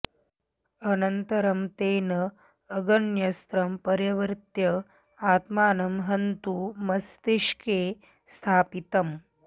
अनन्तरं तेन अग्न्यस्त्रं परिवर्त्य आत्मानं हन्तु मस्तिष्के स्थापितम्